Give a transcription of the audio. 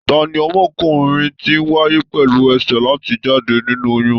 Tani ọmọkùnrin ti wáyé pẹlú ẹsẹ láti jáde nínú oyún?